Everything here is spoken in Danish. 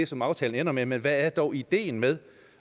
som aftalen ender med men hvad er dog ideen med